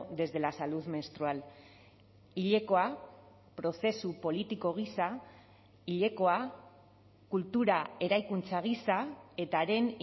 desde la salud menstrual hilekoa prozesu politiko gisa hilekoa kultura eraikuntza gisa eta haren